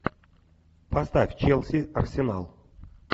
поставь челси арсенал